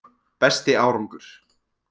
Besti árangur: